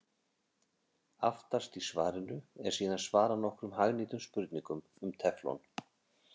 Aftast í svarinu er síðan svarað nokkrum hagnýtum spurningum um teflon.